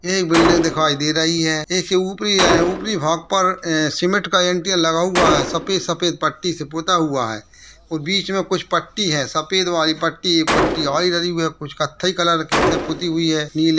एक बिल्डिंग दिखाई दे रही है। ये ऊपरी है। ऊपरी भाग पर ऐ सीमेंट का एंटियाल लगा हुआ है सफेद सफेद पट्टी से पूता हुआ है और बीच में कुछ पट्टी है सफेद वाली पट्टी एक पट्टी और । कुछ कत्थई कलर की से पूति हुई हैं नीले --